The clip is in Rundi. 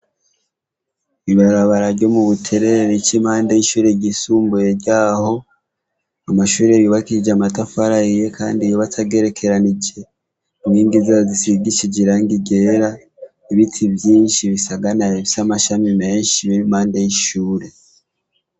Ibarabara ryo mu Buterere ric’ impande y’ishuri ryisumbuye ryaho, amashure yubakishije amatafari ahiye kandi yubatse agerekeranije. Inkingi zayo zisigishije irangi ryera, ibiti vyinshi bisaganaye bifise amashami menshi bir’impande y’ishuri.